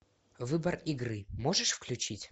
выбор игры можешь включить